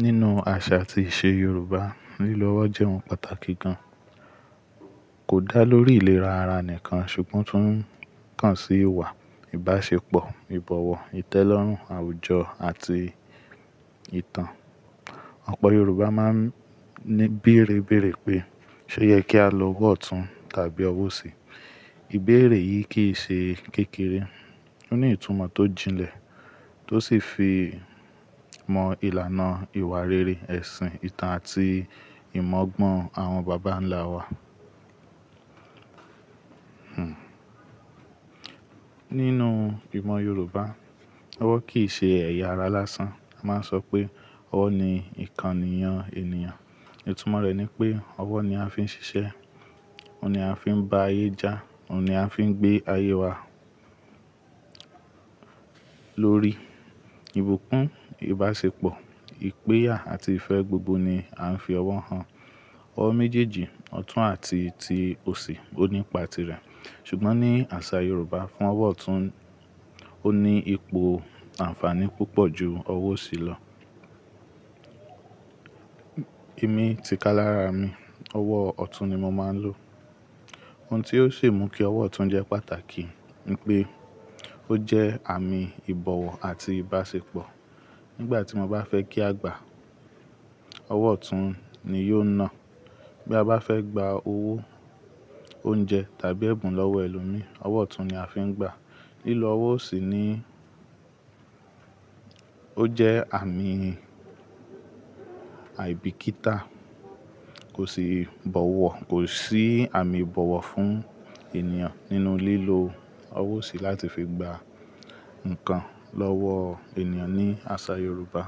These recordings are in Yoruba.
Nínú àṣà àti ìṣe Yorùbá, lílọ ọwọ́ jẹ́ ohun pàtàkì gan. Kò dá lórí ìlera ara nìkan ṣùgbọ́n tún tàn sí ìwà, ìbáṣepọ̀, ìbọ̀wọ̀, ìtẹ́lọ́rùn, àwùjọ àti ìtàn. Ọ̀pọ̀ Yorùbá máa ń ní béérè béèrè pé, "Ṣé o yẹ kí a lo ọwọ́ ọ̀tún tàbí ọwọ́ òsì?" Ìbéèrè yìí kì í ṣe kékeré. Ó ní ìtumọ̀ tó jinlẹ̀ tó sì fi mọ ìlànà ìwà rere, ẹ̀sìn, ìtàn àti ìmọ̀gbọ́n àwọn bàbá ńlá wa. Hmmm. Nínú ìmọ̀ Yorùbá, ọwọ́ kì í ṣe ẹ̀yà ara lásán. A máa ń sọ pé, "Ọwọ́ ni ìkànnì yan ènìyàn." Ìtumọ̀ rẹ̀ ni pé ọwọ́ ni a fi ń ṣiṣẹ́, òun ni a fi ń bá ayé já, òun ni a fi ń gbé ayé wa lórí. Ìbùkún, ìbáṣepọ̀, ìpẹ́yà àti ìfẹ́ gbogbo ni a ń fi ọwọ́ hàn. Ọwọ́ méjèèjì, ọ̀tún àti ti òsì ó nípa tirẹ̀. Ṣùgbọ́n ní àṣà Yorùbá fún ọwọ́ ọ̀tún, ó ní ipò àǹfààní púpọ̀ ju ọwọ́ òsì lọ. Émi, tìkálára mi, ọwọ́ ọ̀tún ni mo máa ń lò. Ohun tí ó ṣi mú kí ọwọ́ ọ̀tún jẹ́ pàtàkì ni pé ó jẹ́ àmì ìbọ̀wọ̀ àti ìbáṣepọ̀. Nígbà tí mo bá fẹ́ kí a gbà, ọwọ́ ọ̀tún ni yóò na. Bí a bá fẹ́ gba owó, oúnjẹ tàbí ẹ̀bùn lọ́wọ́ ẹlòmí, ọwọ́ ọ̀tún ni a fi ń gba. Lílo ọwọ́ òsì ni ó jẹ́ àmì àìbíkítà. Kò sì bọ̀wọ̀, kò sí àmì ìbọ̀wọ̀ fún ènìyàn nínú lílo ọwọ́ òsì láti fi gba nǹkan lọ́wọ́ ènìyàn ní àṣà Yorùbá.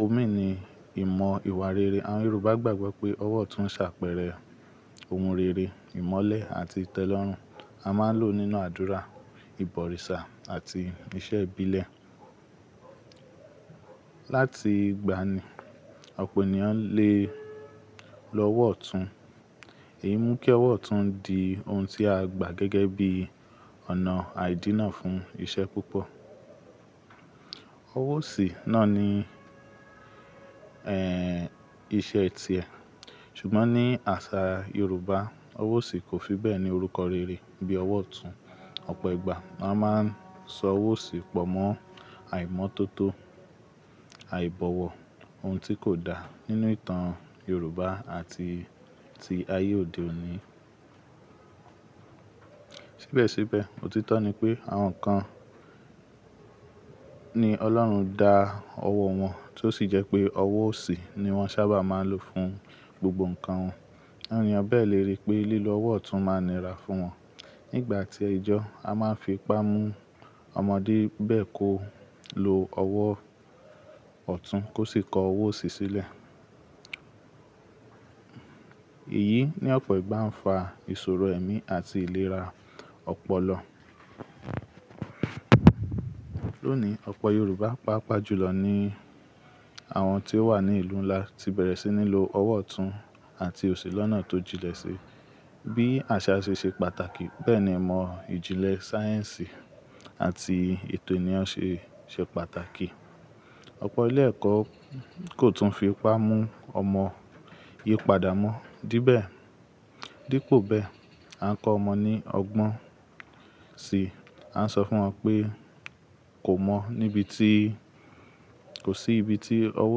Òmí ni ìmọ̀ ìwà rere. Àwọn Yorùbá gbàgbọ́ pé ọwọ́ ọ̀tún ń ṣàpẹẹrẹ ohun rere, ìmọ́lẹ̀ àti ìtẹ́lọ́rùn. A máa ń lò ó nínú àdúrà, ìbọ̀rìṣà àti ìṣe ìbílẹ̀. Láti ìgbàanì, ọ̀pọ̀ ènìyàn le lo ọwọ́ ọ̀tún. Èyí mú kí ọwọ́ ọ̀tún di ohun tí a gbà gẹ́gẹ́ bí ọ̀nà àidínà fún ìṣe púpọ̀. Ọwọ́ òsì náà ni, ẹ́ẹ́, iṣẹ́ tiẹ̀. Ṣùgbọ́n ní àṣà Yorùbá, ọwọ́ òsì kò fi bẹ́ẹ̀ ní orúkọ rere bí ọwọ́ ọ̀tún. Ọ̀pọ̀ ìgbà a máa ń sọ ọwọ́ òsì pọ̀ mọ́ àìmọ́tótó, àìbọ̀wọ̀, ohun tí kò dá nínú ìtàn Yorùbá àti ti ayé òde òní. Síbẹ̀síbẹ̀, òtítọ́ ni pé àwọn kan ni Ọlọ́run dá ọwọ́ wọn tó sì jẹ́ pé ọwọ́ òsì ni wọ́n sábà máa ń lò fún gbogbo nǹkan wọn. Àwọn ènìyàn bẹ́ẹ̀ le rí pé lílo ọwọ́ ọ̀tún máa nira fún wọn. Nígbà tí ẹ̀jọ́, a máa ń fi ipá mú ọmọdé bẹ́ẹ̀ kó lo ọwọ́ ọ̀tún kó sì kọ ọwọ́ òsì sílẹ̀. Èyí ní ọ̀pọ̀ ìgbà ń fa ìṣòro ẹ̀mí àti ìlera ọ̀pọ̀lọ. Lónìí, ọ̀pọ̀ Yorùbá, pàápàá jùlọ ni àwọn tí ó wà ní ìlú ńlá, ti bẹ̀rẹ̀ sí ní lo ọwọ́ ọ̀tún àti òsì lọ́nà tó jinlẹ̀ sí i. Bí àṣà ṣe ṣe pàtàkì bẹ́ẹ̀ ni ìmọ̀ ìjìnlẹ̀ sáyẹ̀nsì àti ètò ènìyàn ṣe ṣe pàtàkì. Ọ̀pọ̀ ilé ẹ̀kọ́ kò tún fi ipá mú ọmọ yípadà mọ́ díbẹ̀-- dípò bẹ́ẹ̀, a ń kọ́ ọmọ ní ọgbọ́n sì a ń sọ fún wọn pé, "Kò mọ́ níbi tí-- kò sí ibi tí ọwọ́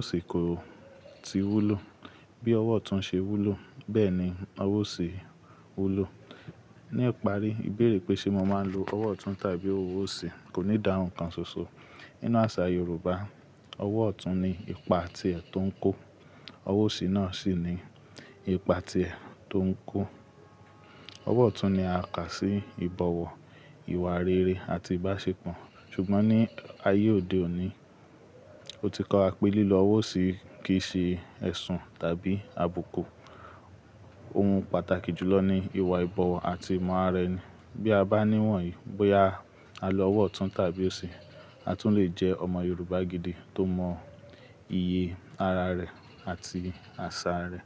òsì kò ti wúlò. Bí ọwọ́ ọ̀tún ṣe wúlò bẹ́ẹ̀ ni ọwọ́ òsì wúlò." Ní ìparí, ìbéèrè pé ṣe mo máa ń lo ọwọ́ ọ̀tún tàbí ọwọ́ òsì kò ní idáhùn kan ṣoṣo. Nínú àṣà Yorùbá, ọwọ́ ọ̀tún ni ipa tiẹ̀ tó ń kó. Ọwọ́ òsì náà sì ni ipa tiẹ̀ tó ń kó. Ọwọ́ ọ̀tún ni a kà sí ìbọ̀wọ̀, ìwà rere àti ìbáṣepọ̀. Ṣùgbọ́n ní ayé òde òní, ó ti kowa pé lílo ọwọ́ òsì yi kì í ṣe ẹ̀sùn tàbí àbùkù. Ohun pàtàkì jùlọ ni ìwà ìbọ̀wọ̀ àti ìmọ̀ ara ẹni. Bí a bá níwọ̀n yìí bóyá a lo ọwọ́ ọ̀tún tàbí òsì, a tún lè jẹ́ ọmọ Yorùbá gidi tó mọ ìyè ara rẹ̀ àti àṣà rẹ̀.